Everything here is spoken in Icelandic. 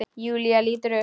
Júlía lítur upp.